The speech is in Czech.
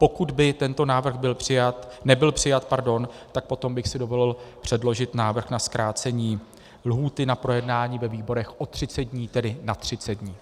Pokud by tento návrh nebyl přijat, tak potom bych si dovolil předložit návrh na zkrácení lhůty na projednání ve výborech o 30 dní, tedy na 30 dní.